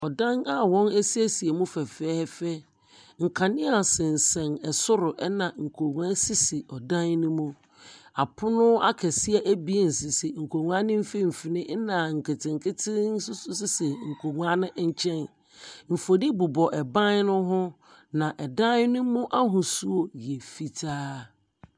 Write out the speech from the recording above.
Ɔdan a wɔasiesie mu fɛfɛɛfɛ, nkanea sensɛn soro, ɛna nkonnwa sisi dan no mu. Apono akɛseɛ abien sisi nkonnwa no mfinimfini, ɛna nketenkete nso sisi nkonwa no nkyɛn. Mfonin bobɔ banno ho, na ɛdan nomu ahosuo yɛ fitaa.